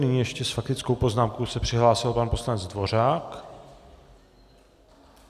Nyní ještě s faktickou poznámkou se přihlásil pan poslanec Dvořák.